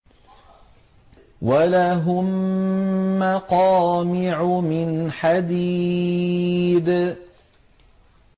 وَلَهُم مَّقَامِعُ مِنْ حَدِيدٍ